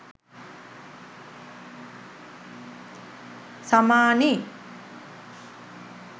samani